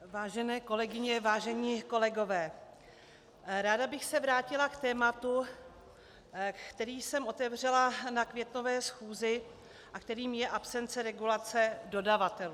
Vážené kolegyně, vážení kolegové, ráda bych se vrátila k tématu, které jsem otevřela na květnové schůzi a kterým je absence regulace dodavatelů.